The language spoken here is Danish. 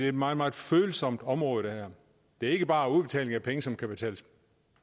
et meget meget følsomt område det er ikke bare udbetaling af penge som kan betales